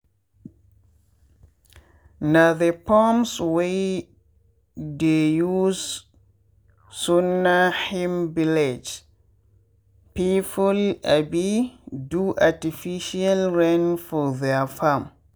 na the pumps wey dey use sunna him village people um do artificial rain for their farm.